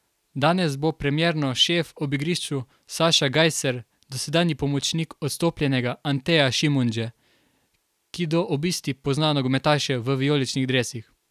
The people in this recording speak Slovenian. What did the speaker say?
Danes bo premierno šef ob igrišču Saša Gajser, dosedanji pomočnik odstopljenega Anteja Šimundže, ki do obisti pozna nogometaše v vijoličnih dresih.